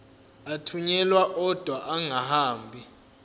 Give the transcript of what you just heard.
athunyelwa odwa angahambi